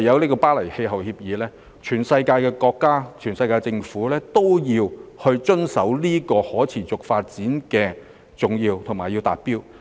在《巴黎協定》下，世界各地政府都要遵守和達到可持續發展的重要指標。